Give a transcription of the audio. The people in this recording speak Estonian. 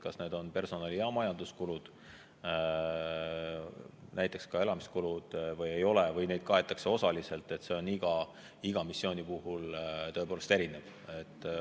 Kas need on personali- ja majanduskulud, näiteks elamiskulud, või ei ole või kas neid kaetakse osaliselt, see on iga missiooni puhul tõepoolest erinev.